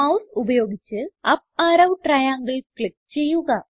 mouse ഉപയോഗിച്ച് up arrow ട്രയാങ്ങിൽ click ചെയ്യുക